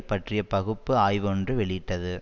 பற்றிய பகுப்பு ஆய்வு ஒன்று வெளியிட்டது